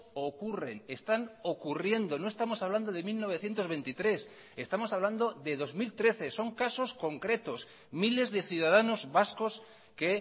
ocurren están ocurriendo no estamos hablando de mil novecientos veintitrés estamos hablando de dos mil trece son casos concretos miles de ciudadanos vascos que